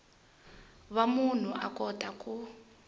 va munhu a kota ku